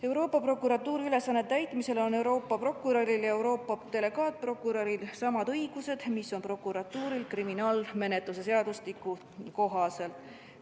Euroopa Prokuratuuri ülesannete täitmisel on Euroopa prokuröril ja Euroopa delegaatprokuröril samad õigused, mis on prokuratuuril kriminaalmenetluse seadustiku kohaselt.